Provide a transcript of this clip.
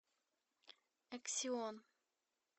эксион